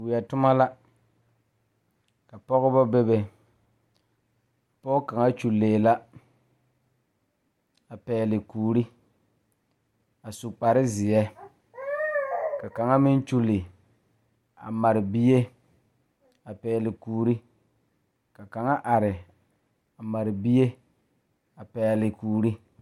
Weɛ toma la ka pɔgeba bebe pɔge kaŋ kyullee la a pɛgle kuuri a su kparezeɛ ka kaŋa meŋ kyulli a mare bie a pɛgle kuuri ka kaŋa are a mare bie a pɛgle kuuri.